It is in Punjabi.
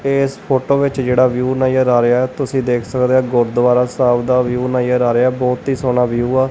ਇਸ ਫੋਟੋ ਵਿੱਚ ਜਿਹੜਾ ਵਿਊ ਨਜਰ ਆ ਰਿਹਾ ਤੁਸੀਂ ਦੇਖ ਸਕਦੇ ਹੋ ਗੁਰਦੁਆਰਾ ਸਾਹਿਬ ਦਾ ਵਿਊ ਨਜਰ ਆ ਰਿਹਾ ਬਹੁਤ ਹੀ ਸੋਹਣਾ ਵਿਊ ਆ।